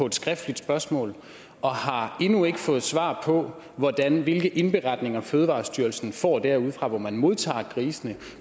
et skriftligt spørgsmål og har endnu ikke fået svar på hvilke indberetninger fødevarestyrelsen får derudefra hvor man modtager grisene